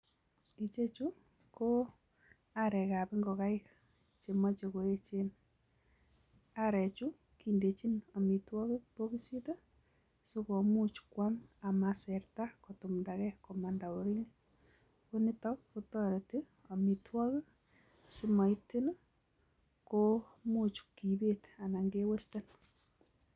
Ichechu ko aarekab ingogaik chemoche koyeechen, aarechu kindechin amitwogiik bokisitii sikomuch koam, amaisertaa kotumdage komandaa oliin, konitok kotoretii amitwogiik simokimuch kibet anan kewesten